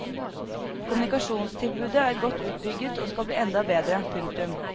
Kommunikasjonstilbudet er godt utbygget og skal bli enda bedre. punktum